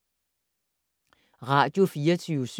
Radio24syv